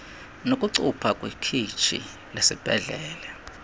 nokucupha kwikhitshi lesibhedlele